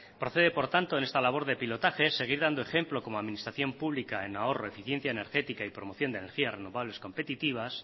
procede por tanto en esta labor de pilotaje seguir dando ejemplo como administración pública en ahorro eficiencia energética y promoción de energías renovables competitivas